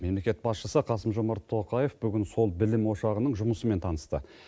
мемлекет басшысы қасым жомарт тоқаев бүгін сол білім ошағының жұмысымен танысты